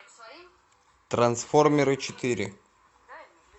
трансформеры четыре